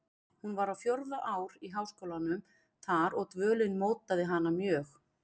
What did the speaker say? Hún var á fjórða ár í háskólum þar og dvölin mótaði hana mjög.